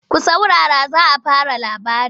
Ku saurara za a fara labari!